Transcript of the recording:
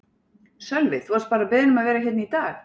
Sölvi: Þú varst bara beðinn um að vera hérna í dag?